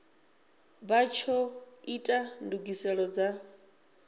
vha tsho ita ndugiselo dza